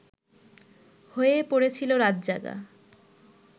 হয়েই পড়েছিল রাতজাগা